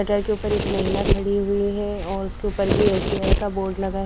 के ऊपर एक महिला खड़ी हुईं हैं और उसके ऊपर भी एस_बी_आई का बोर्ड लगा है।